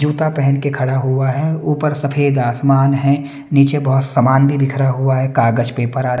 जूता पहन के खड़ा हुआ है ऊपर सफेद आसमान है नीचे बहुत सामान भी बिखरा हुआ है कागज पेपर आ --